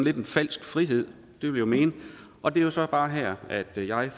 er en falsk frihed det vil jeg mene og det er så bare her at jeg